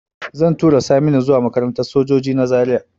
Zan tura Saminu zuwa makarantar sojoji na Zaria